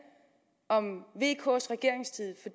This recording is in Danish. om vks regeringstid